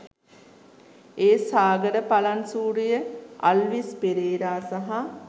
ඒ සාගර පළන්සූරිය අල්විස් පෙරේරා සහ